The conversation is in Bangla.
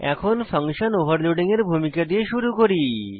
এখন ফাংশন ওভারলোডিং এর ভূমিকা দিয়ে শুরু করি